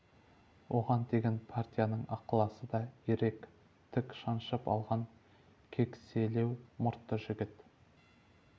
оған деген партияның ықыласы да ерек тік шаншып алған кекселеу мұртты жігіт